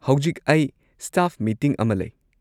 ꯍꯧꯖꯤꯛ ꯑꯩ staff meeting ꯑꯃ ꯂꯩ꯫